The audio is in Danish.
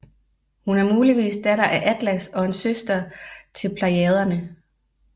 Hun er muligvis datter af Atlas og en søster til Plejaderne